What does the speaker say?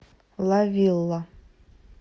ла вилла